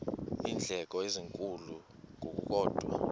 iindleko ezinkulu ngokukodwa